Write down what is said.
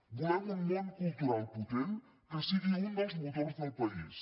volem un món cultural potent que sigui un dels motors del país